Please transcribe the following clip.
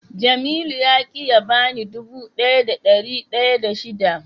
Jamilu ya ki ya bani dubu daya da dari daya da shida.